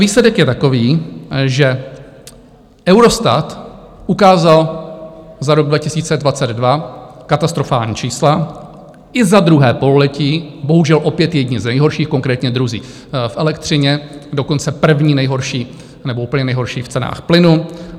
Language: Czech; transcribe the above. Výsledek je takový, že Eurostat ukázal za rok 2022 katastrofální čísla i za druhé pololetí, bohužel opět jedni z nejhorších, konkrétně druzí v elektřině, dokonce první nejhorší nebo úplně nejhorší v cenách plynu.